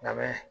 Labɛn